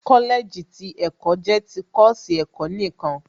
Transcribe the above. Kọ́lẹ̀ẹ̀jì ti ẹ̀kọ́ jẹ́ ti kọ́ọ̀sì ẹ̀kọ́ nìkan